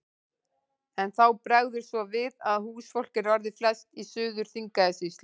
En þá bregður svo við að húsfólk er orðið flest í Suður-Þingeyjarsýslu.